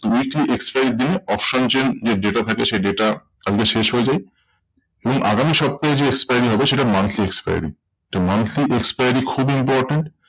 weekly expiry র দিনে option chain যে data থাকে সেই data কালকে শেষ হয়ে যায়। এবং আগামী সপ্তাহে যে expire হবে সেটা monthly expiry. তো monthly expiry খুবই important.